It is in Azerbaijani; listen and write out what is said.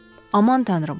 Aman tanrım!